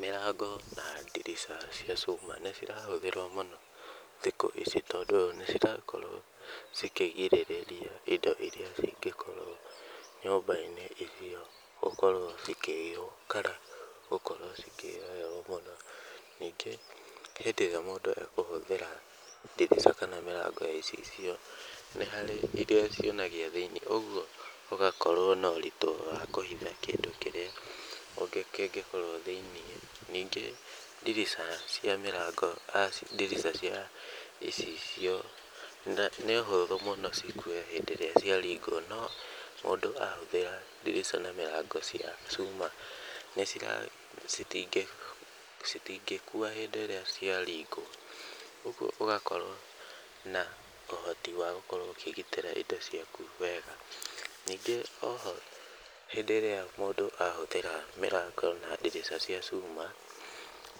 Mĩrango na ndirica cia cuma nĩ cirahũthĩrwo mũno thikũ ici tondũ nĩ cirakorwo cikĩgirĩrĩria indo irĩa cingĩkorwo nyũmba-inĩ ĩyo gũkorwo cikĩiywo kana gũkorwo cikĩ mũno. Ningĩ hĩndĩ ĩrĩa mũndũ ekũhũthĩra ndirica kana mĩrango ya icicio, nĩ harĩ irĩa cionanagia thĩinĩ ũguo ũgakorwo na ũritũ wa kũhitha kĩndũ kĩrĩa kĩngĩkorwo thĩinĩ. Ningĩ ndirica cia mĩrango ndirica cia icicio nĩ ũhũthũ mũno cikue hĩndĩ ĩrĩa ciaringwo no mũndũ ahũthĩra ndirica na mĩrango cia cuma nĩ cira citingĩkua hĩndĩ ĩrĩa ciaringwo. Ũguo ũgakorwo na ũhoti wa gũkorwo ũkĩgitĩra indo ciaku wega. Ningĩ o ho hĩndĩ ĩrĩa mũndũ ahũthĩra mĩrango na ndirica cia cuma